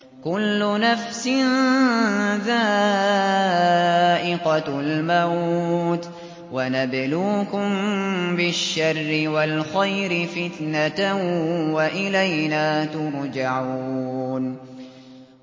كُلُّ نَفْسٍ ذَائِقَةُ الْمَوْتِ ۗ وَنَبْلُوكُم بِالشَّرِّ وَالْخَيْرِ فِتْنَةً ۖ وَإِلَيْنَا تُرْجَعُونَ